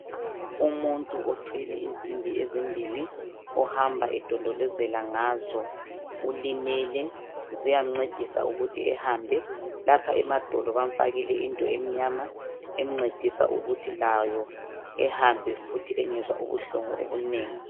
Umuntu othwele insimbi ezimbili. Ohamba edondolozela ngazo. Ulimele. Ziyamncedisa ukuthi ehambe. Lapha emadolo bamfakile into emnyama, emncedisa ukuthi layo ehambe futhi. Engezwa ubuhlungu obunengi,